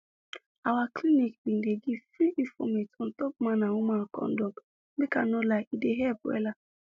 our clinic bin dey give free informate on top man and woman kondom make i no lie e dey help wella